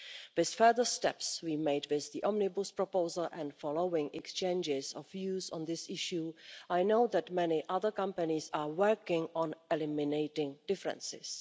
EU. With further steps we made with the Omnibus proposal and following exchanges of views on this issue, I know that many other companies are working on eliminating differences.